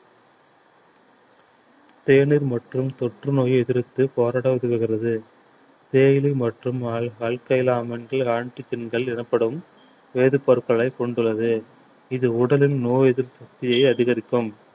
தேநீர் மற்றும் தொற்றுநோயை எதிர்த்து போராட உதவுகிறது தேயிலை மற்றும் எனப்படும் வேதிப்பொருட்களைக் கொண்டுள்ளது இது உடலின் நோய் எதிர்ப்பு சக்தியை அதிகரிக்கும்